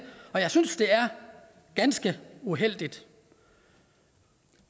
og jeg synes det er ganske uheldigt